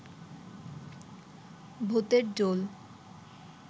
ভূতের ঢোল